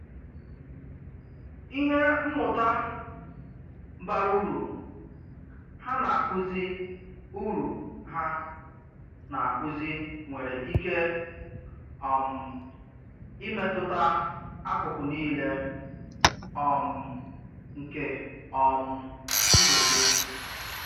Ìhè mmụ́tà bàrà ùrù hà nà-àkuzì ùrù hà nà-àkuzì nwèrè íkè um ị̀métụtà akụkụ niilè um nke um ndụ́ gị.